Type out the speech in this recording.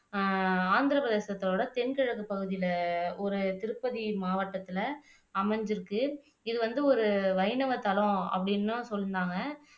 அஹ் ஆந்திர பிரதேசத்தோட தென் கிழக்கு பகுதியில ஒரு திருப்பதி மாவட்டத்துல அமைஞ்சிருக்கு இது வந்து ஒரு வைணவத்தலம் அப்படின்னுதான் சொன்னாங்க